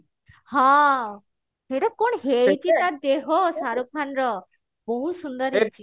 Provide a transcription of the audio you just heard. ହେଇଟା କଣ ହେଇଛି ଟା ଦେହ ସାରୁ ଖାନ ର ବହୁତ ସୁନ୍ଦର ହେଇଛି